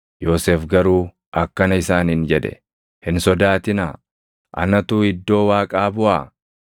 Yoosef garuu akkana isaaniin jedhe; “Hin sodaatinaa. Anatu iddoo Waaqaa buʼaa?